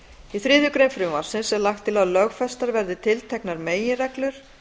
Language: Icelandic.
í þriðju greinar frumvarpsins er lagt til að lögfestar verði tilteknar meginreglur